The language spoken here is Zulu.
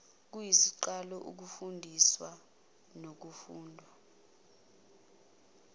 kuyisiqalo sokufundiswa nokufundwa